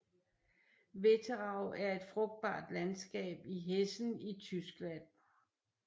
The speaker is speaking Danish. Wetterau er et frugtbart landskab i Hessen i Tyskland